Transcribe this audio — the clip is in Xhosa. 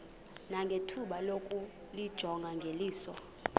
nangethuba lokuyijonga ngeliso